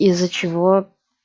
из-за чего